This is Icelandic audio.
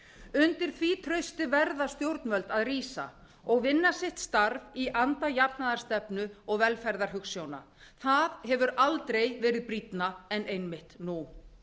undir því trausti verða stjórnvöld að rísa og vinna sitt starf í anda jafnaðarstefnu og velferðarhugsjóna það hefur aldrei verið brýnna en einmitt nú